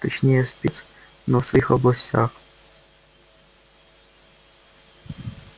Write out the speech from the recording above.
точнее спец но в своих областях